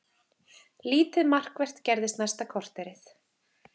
Lítið markvert gerðist næsta korterið.